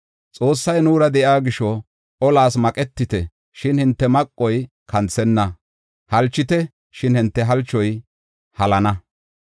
Xoossay nuura de7iya gisho, olas maqetite, shin hinte maqoy kanthenna; halchite, shin hinte halchoy halana.